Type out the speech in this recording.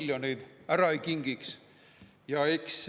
Riisub, varastab, saab enne tähtaega välja ja siis ütleb, et raha ei ole, raha ei ole.